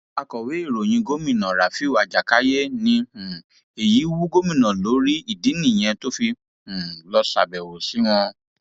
akọwé ìròyìn gómìnà rafiu ajákáyé ní um èyí wú gómìnà lórí ìdí nìyẹn tó fi um lọọ ṣàbẹwò sí wọn